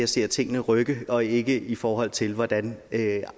ser tingene rykke og ikke i forhold til hvordan